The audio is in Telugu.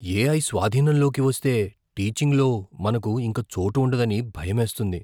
ఏఐ స్వాధీనంలోకి వస్తే, టీచింగ్లో మనకు ఇంక చోటు ఉండదని భయమేస్తుంది.